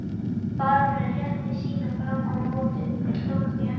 Baróninn rétti sína fram á móti, þeir tókust í hendur.